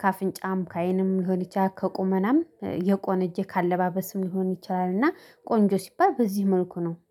ከአፍንጫም ከአይንም ሊሆን ይችላል። ከቁመናም የቆነጀ ከአለባበስም ሊሆን ይችላልና ቆንጆ ሲባል በዚህ መልኩ ነው